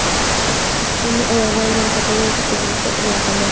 Uning oyog‘idan jarohatlangan katta buvasi omon qoldi.